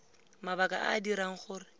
mabaka a a dirang gore